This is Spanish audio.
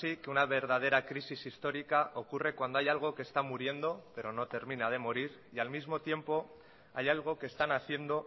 que una verdadera crisis histórica ocurre cuando hay algo que está muriendo pero no termina de morir y al mismo tiempo hay algo que está naciendo